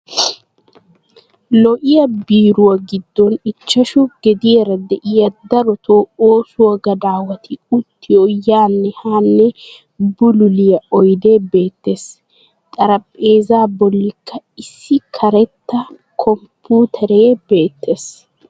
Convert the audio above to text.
Lo'yaa biiruwaa giddon ichchashu gediyara de'iyaa darotto ooso gadawatti uttiyo yaanne haanne bululliyaa oydde beettes. Xarphpheza bollikka issi karetta komputtere beettes.